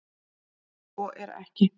En svo er ekki.